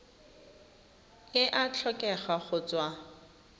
e a tlhokega go tswa